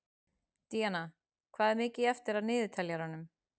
Díanna, hvað er mikið eftir af niðurteljaranum?